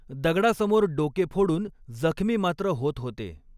दगडासमोर डोके फ़ोडून जखमी मात्र होत होते